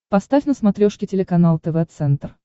поставь на смотрешке телеканал тв центр